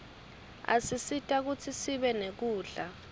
asisita kutsi sibe nekudla